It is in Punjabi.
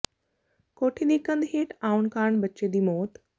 ਕੋਠੀ ਦੀ ਕੰਧ ਹੇਠ ਆਉਣ ਕਾਰਨ ਬੱਚੇ ਦੀ ਮੌਤ